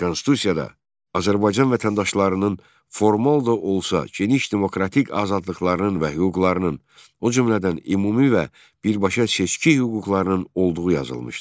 Konstitusiyada Azərbaycan vətəndaşlarının formal da olsa geniş demokratik azadlıqlarının və hüquqlarının, o cümlədən ümumi və birbaşa seçki hüquqlarının olduğu yazılmışdı.